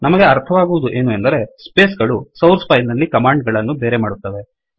ನಮಗೆ ಅರ್ಥ ಆಗುವುದು ಏನು ಅಂದರೆ ಸ್ಪೇಸ್ ಗಳು ಸೌರ್ಸ್ ಫೈಲ್ ನಲ್ಲಿ ಕಮಾಂಡ್ ಗಳನ್ನು ಬೇರೆ ಮಾಡುತ್ತವೆ